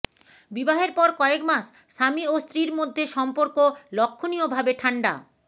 বিবাহের পর কয়েক মাস স্বামী ও স্ত্রীর মধ্যে সম্পর্ক লক্ষণীয়ভাবে ঠান্ডা